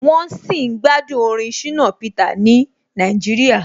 Wọ́n sì ń gbádùn orin Shina Peter ni Nàìjíríà.